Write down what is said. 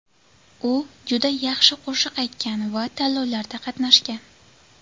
U juda yaxshi qo‘shiq aytgan va tanlovlarda qatnashgan.